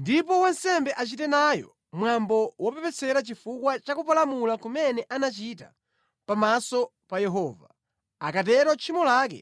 ndipo wansembe achite nayo mwambo wopepesera chifukwa cha kupalamula kumene anachita pamaso pa Yehova. Akatero tchimo lake